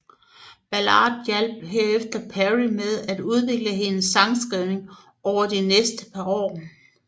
Ballard hjalp herefter Perry med at udvikle hendes sangskrivning over de næste par år